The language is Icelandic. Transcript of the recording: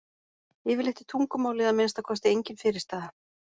Yfirleitt er tungumálið að minnsta kosti engin fyrirstaða.